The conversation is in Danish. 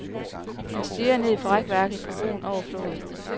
Han stirrede ned fra rækværket på broen over floden.